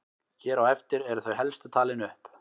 Hér á eftir eru þau helstu talin upp.